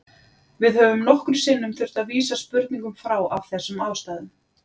Við höfum nokkrum sinnum þurft að vísa spurningum frá af þessum ástæðum.